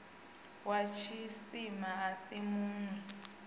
wa tshisima a si munwi